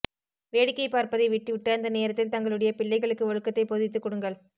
வேடிக்கை பார்ப்பதை விட்டு விட்டு அந்த நேரத்தில் தங்களுடைய பிள்ளைகளுக்கு ஒழுக்கத்தை போதித்து குடுங்கள்